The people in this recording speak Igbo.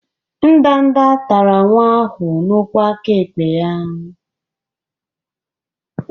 Ndanda tara nwa ahụ n'ụkwụ aka ekpe ya.